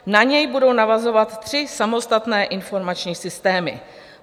Na něj budou navazovat tři samostatné informační systémy.